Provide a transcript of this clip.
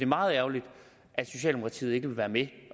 meget ærgerligt at socialdemokratiet ikke vil være med